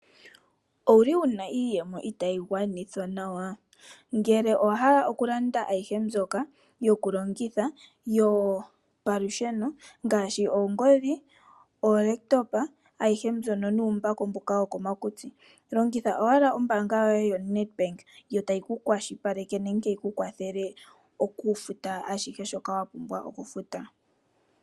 Ouli wuna iiyemo itaayi gwanithwa nawa? Ngele owa hala okulanda ayihe mbyoka yokulongitha yopamalusheno ngaashi oongodhi, ookompiuta dhopeke ayihe mbyono nuumbako mboka wokomakutsi. Longitha owala ombaanga yoye yoNedBank yo tayi ku kwashilipaleke nenge yiku kwathele okufuta ashihe shoka wa pumbwa okufuta.